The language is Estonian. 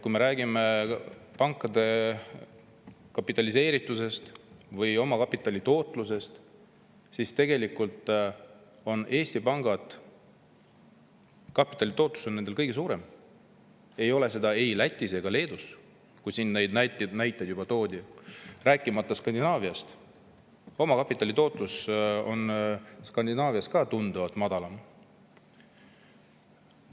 Kui me räägime pankade kapitaliseeritusest või omakapitali tootlusest, siis selgub, et Eesti pankades on kapitali tootlus kõige suurem, see ei ole ei Lätis ega Leedus, mille kohta juba näiteid toodi, rääkimata Skandinaaviast, omakapitali tootlus on ka Skandinaavias tunduvalt madalam.